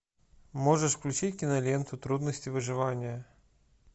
можешь включить киноленту трудности выживания